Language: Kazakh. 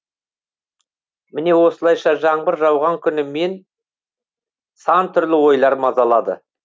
міне осылайша жаңбыр жауған күні мен сан түрлі ойлар мазалайды